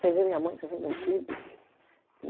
Sem ver minha mãe, sem ver meus filhos.